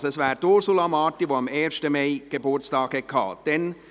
Es ist also Ursula Marti, die am 1. Mai Geburtstag hatte.